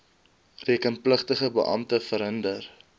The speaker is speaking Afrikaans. rekenpligtige beampte verhinder